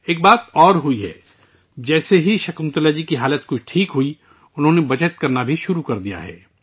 ایک اور بات ہوئی ہے، جیسے ہی شکنتلا جی کی حالت بہتر ہوئی ہے، انھوں نے بچت بھی شروع کر دی ہے